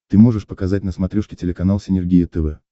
ты можешь показать на смотрешке телеканал синергия тв